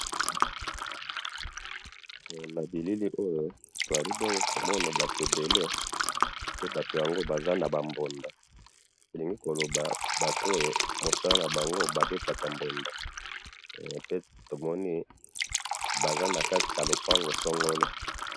na bilili oyo tozali bongo komona batu ebele, pe batu yango baza naba mbunda, tolingi koloba batu oyo musala na bango babetaka mbunda, pe tomoni baza nakati ya lupango songolo